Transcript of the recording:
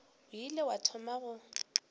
o ile wa thoma go